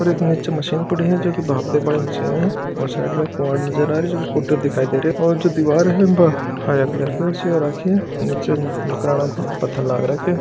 और एक नीचे मशीन पड़ी है जो भांप दे बा री मशीन है और साइड में एक किवाड़ नज़र आरो है जिको कुंटियो दिखरो है जो दीवार है बा हरे कलर की हो राखी है नीचे मकराणे को पत्थर लाग रो है।